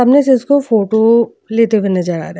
सामने से इसको फोटो लेते हुए नजर आ रहा।